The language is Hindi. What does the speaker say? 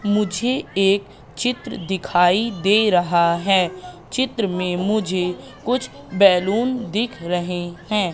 मुझे एक चित्र दिखाई दे रहा है। चित्र में मुझे कुछ बैलून दिख रहे हैं।